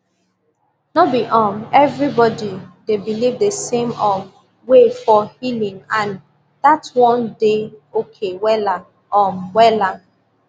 no be um everybody dey believe the same um way for healing and that one dey okay wella um wella